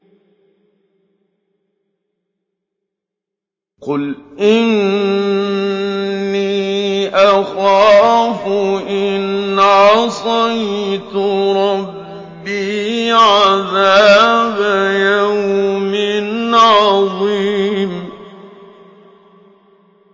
قُلْ إِنِّي أَخَافُ إِنْ عَصَيْتُ رَبِّي عَذَابَ يَوْمٍ عَظِيمٍ